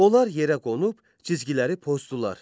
Onlar yerə qonub cizgiləri pozdular.